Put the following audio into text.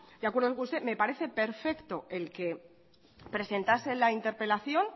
de acuerdo con usted me parece perfecto el que presentase la interpelación